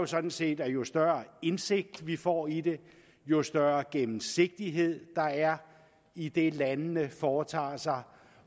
sådan set at jo større indsigt vi får i det jo større gennemsigtighed der er i det landene foretager sig